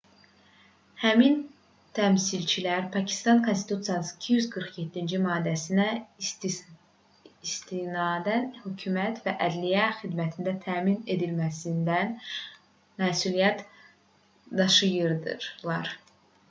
həmin təmsilçilər pakistan konstitusiyasının 247-ci maddəsinə istinadən hökumət və ədliyyə xidmətlərinin təmin edilməsindən məsuliyyət daşıyırdılar